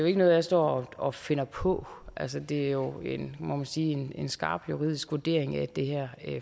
ikke noget jeg står og finder på altså det er jo må man sige en skarp juridisk vurdering af det her